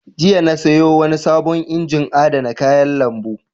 Jiya na sayo wani sabon injin adana kayan lambu.